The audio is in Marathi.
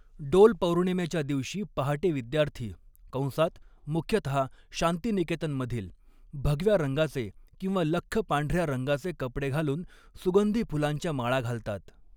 डोल पौर्णिमेच्या दिवशी पहाटे विद्यार्थी कंसात मुख्यतः शांतीनिकेतनमधील भगव्या रंगाचे किंवा लख्ख पांढऱ्या रंगाचे कपडे घालून सुगंधी फुलांच्या माळा घालतात.